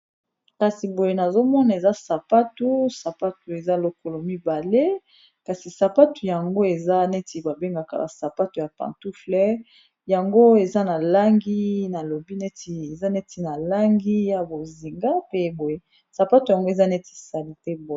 Kasi boye nazomona eza sapatu, sapatu eza lokolo mibale, kasi sapatu yango eza neti babengaka sapato ya pantouffle, yango eza na langi ya bozinga pe boye sapatu yango eza neti salite boye.